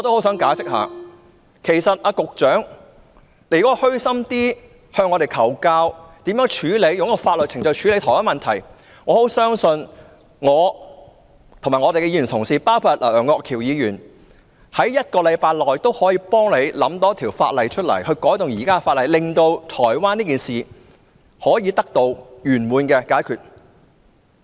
如果局長能虛心向我們求教，如何透過法律程序處理同一問題，我相信我和各位同事，包括楊岳橋議員，可以在1星期內替局長想出，可以修訂哪一項現行法例，令這宗在台灣發生的事件得到圓滿解決。